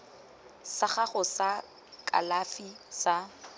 sa gago sa kalafi sa